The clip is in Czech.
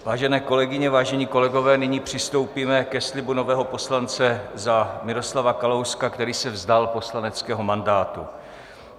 Vážené kolegyně, vážení kolegové, nyní přistoupíme ke slibu nového poslance za Miroslava Kalouska, který se vzdal poslaneckého mandátu.